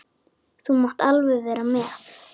Þú mátt alveg vera með.